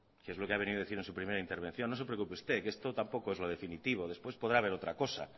que es lo que ha venido a decir en su primera intervención no se preocupe usted que esto tampoco es lo definitivo después podrá haber otra cosa